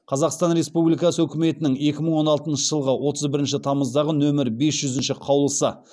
қазақстан республикасы үкіметінің екі мың он алтыншы жылғы отыз бірінші тамыздағы нөмірін бес жүзінші қаулысы